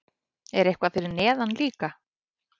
Er eitthvað fyrir neðan líka?